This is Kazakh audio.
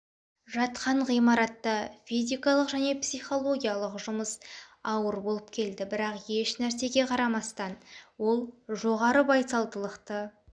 жатқан ғимаратта физикалық және психологиялық жұмыс ауыр болып келді бірақ ешнарсеге қарамастан ол жоғары байсалдылықты